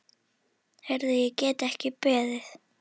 Heyrðu, ég get ekki beðið.